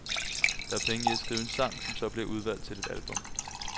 Der er penge i at skrive en sang, som så bliver udvalgt til et album.